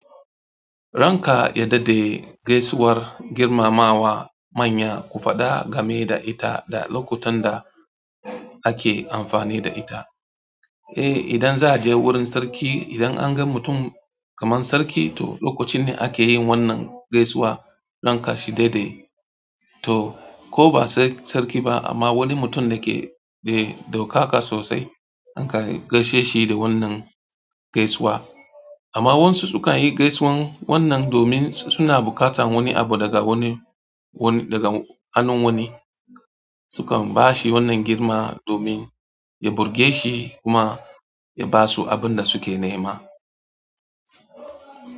Ranka ya daɗe, gaisuwar girmamawa manya ku faɗa game da ita da lokutan da ake amfani da ita. Eh, idan za'a je wurin sarki, idan an ga mutum kamar sarki, to lokacin ne ake yin wannan gaisuwa ranka shi daɗe. To, ko ba sai sarki ba amma wani mutum dake da ɗaukaka sosai, akan gaishe shi da wannan gaisuwa. Amma wasu sukan yi gaisuwan wannan domin suna buƙatan wani abu daga wani, daga hannun wani. Su kan bashi wannan girma domin ya burge shi kuma ya basu abinda suke nema.